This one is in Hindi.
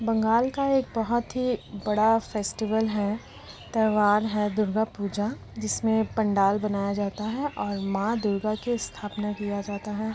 बंगाल का एक बहुत ही बड़ा फेस्टीवल है त्योहार है दुर्गा पूजा जिसमें पंडाल बनाया जाता है और मां दुर्गा की स्थापना किया जाता है ।